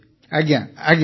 ଆଜ୍ଞା ଆଜ୍ଞା